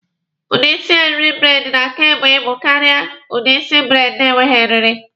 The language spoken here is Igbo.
Udi isi eriri braidi na-aka ebu ibu karịa udi isi braidi na-enweghi eriri.